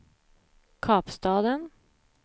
Kapstaden